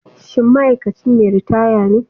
Shin ma'aikaci mai ritaya ne?